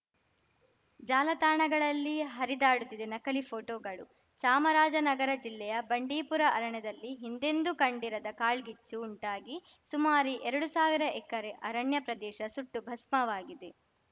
ಜಾಲತಾಣಗಲ್ಲಿ ಹರಿದಾಡುತ್ತಿದೆ ನಕಲಿ ಫೋಟೋಗಳು ಚಾಮರಾಜನಗರ ಜಿಲ್ಲೆಯ ಬಂಡೀಪುರ ಅರಣ್ಯದಲ್ಲಿ ಹಿಂದೆಂದೂ ಕಂಡಿರದ ಕಾಳ್ಗಿಚ್ಚು ಉಂಟಾಗಿ ಸುಮಾರು ಎರಡು ಸಾವಿರ ಎಕರೆ ಅರಣ್ಯ ಪ್ರದೇಶ ಸುಟ್ಟು ಭಸ್ಮವಾಗಿದೆ